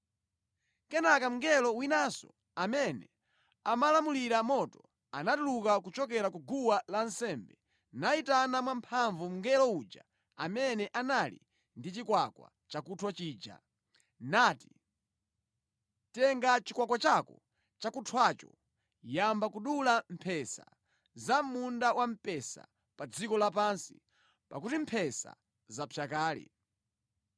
Kenaka mngelo winanso amene amalamulira moto, anatuluka kuchokera ku guwa lansembe nayitana mwamphamvu mngelo uja amene anali ndi chikwakwa chakunthwa chija, nati, “Tenga chikwakwa chako chakunthwacho yamba kudula mphesa za mʼmunda wamphesa wa pa dziko lapansi, pakuti mphesa zapsa kale.”